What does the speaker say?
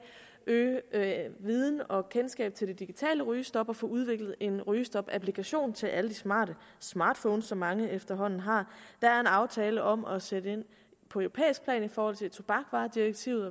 øge viden og kendskab til det digitale rygestop og få udviklet en rygestopapplikation til alle de smarte smartphones som mange efterhånden har der er en aftale om at sætte ind på europæisk plan i forhold til tobaksvaredirektivet